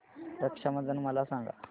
रक्षा बंधन मला सांगा